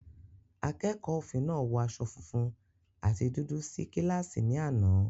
Akẹ́kọ̀ọ́ òfin náà wọ aṣọ funfun àti dúdú sí kíláàsì ní àná.